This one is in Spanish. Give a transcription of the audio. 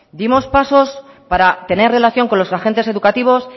dimos pasos para tener relación con los agentes educativos